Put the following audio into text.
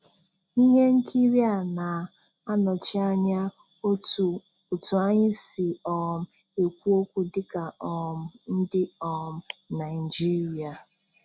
Ihe nkiri a na-anọchi anya otu anyị si um ekwu okwu dịka um ndị um Naijiria.